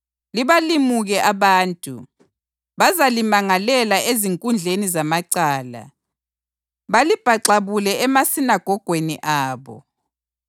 Libalimuke abantu; bazalimangalela ezinkundleni zamacala, balibhaxabule emasinagogweni abo.